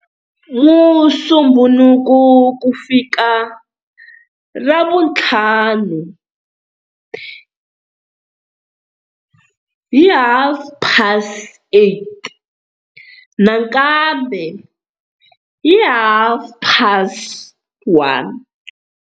Musumbunuku ku fika Ravuntlhanu hi 08h30 nakambe hi 13h30.